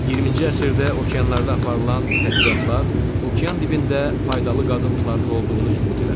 20-ci əsrdə okeanlarda aparılan tədqiqatlar okean dibində faydalı qazıntıların olduğunu sübut elədi.